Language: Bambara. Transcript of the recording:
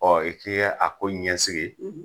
Ɔ i t'i a ko ɲɛsigi